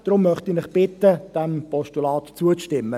Deshalb möchte ich Sie bitten, diesem Postulat zuzustimmen.